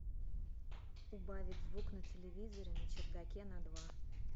убавить звук на телевизоре на чердаке на два